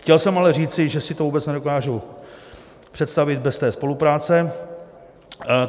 Chtěl jsem ale říci, že si to vůbec nedokážu představit bez té spolupráce.